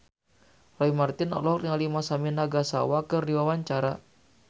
Roy Marten olohok ningali Masami Nagasawa keur diwawancara